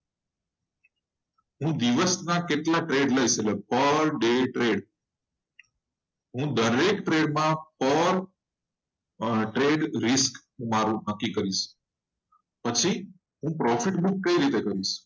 હું દિવસ ના કેટલા trade લવ છું એટલે પર day trade હું દરેક trade માં પર trade risk મારૂ નક્કી કરિસ પછી હું profit book કઈ રીતે કરિસ.